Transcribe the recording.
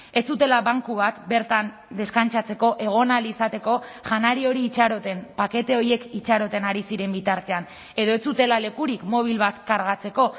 ez zutela banku bat bertan deskantsatzeko egon ahal izateko janari hori itxaroten pakete horiek itxaroten ari ziren bitartean edo ez zutela lekurik mobil bat kargatzeko